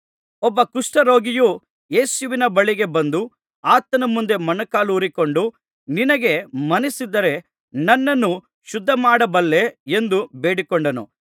ಒಬ್ಬ ಕುಷ್ಠರೋಗಿಯು ಯೇಸುವಿನ ಬಳಿಗೆ ಬಂದು ಆತನ ಮುಂದೆ ಮೊಣಕಾಲೂರಿಕೊಂಡು ನಿನಗೆ ಮನಸ್ಸಿದ್ದರೆ ನನ್ನನ್ನು ಶುದ್ಧಮಾಡಬಲ್ಲೆ ಎಂದು ಬೇಡಿಕೊಂಡನು